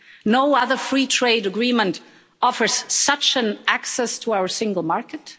no other free trade agreement offers such an access to our single market.